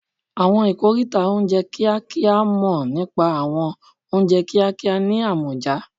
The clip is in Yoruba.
Àwọn ikoríta oúnjẹ kíákíá mọ̀ nípa àwọn oúnjẹ kíákíá ní àmọ̀já